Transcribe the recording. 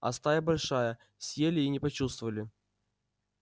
а стая большая съели и не почувствовали